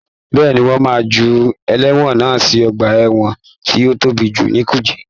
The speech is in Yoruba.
Bẹ́ẹ̀ni, wọ́n máa ju ẹlẹ́wọ̀n náà sí ọgbà ẹwọ̀n tó tóbi jù ní kùjé.